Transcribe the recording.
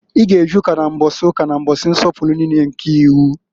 I g' e je Ụka na mbọsị ụka na mbọsị nsọpụlụ niine nke iwu!